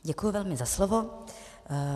Děkuji velmi za slovo.